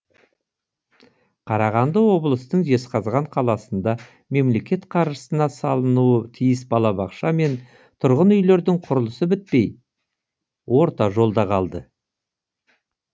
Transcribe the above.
қарағанды облыстың жезқазған қаласында мемлекет қаржысына салынуы тиіс балабақша мен тұрғын үйлердің құрылысы бітпей орта жолда қалды